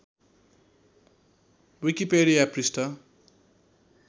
Wikipedia पृष्ठ